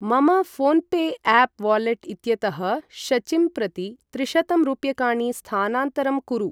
मम PhonePe app wallet इत्यतः शचिं प्रति त्रिशतं रूप्यकाणि स्थानान्तरं कुरु।